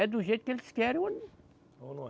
É do jeito que eles querem ou. Ou não é.